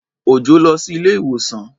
Òjọ́ lọ sí ilé-ìwòsàn.